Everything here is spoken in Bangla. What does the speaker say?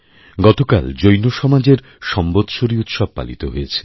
গতকাল জৈন সমাজের সম্বৎসরি উৎসব পালিত হয়েছে